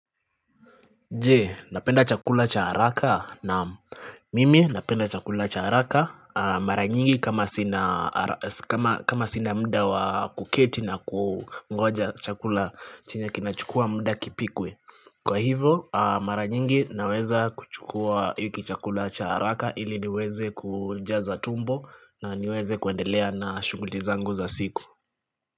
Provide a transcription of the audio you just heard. Je, napenda chakula cha haraka naam mimi napenda chakula cha haraka Mara nyingi kama sina muda wakuketi na kungoja chakula chenye kinachukua muda kipikwe Kwa hivyo, mara nyingi naweza kuchukua hiki chakula cha haraka ili niweze kujaza tumbo na niweze kuendelea na shughuli zangu za siku.